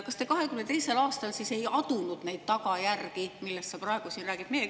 Kas te 2022. aastal siis ei adunud neid tagajärgi, millest sa praegu siin räägid?